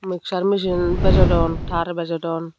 mixture michin bejodon taar bejodon.